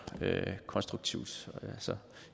konstruktivt